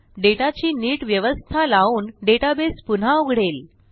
डेटाची नीट व्यवस्था लावून डेटाबेस पुन्हा उघडेल